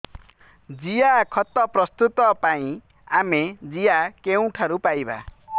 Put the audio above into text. ଜିଆଖତ ପ୍ରସ୍ତୁତ ପାଇଁ ଆମେ ଜିଆ କେଉଁଠାରୁ ପାଈବା